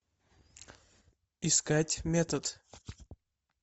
искать метод